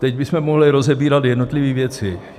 Teď bychom mohli rozebírat jednotlivé věci.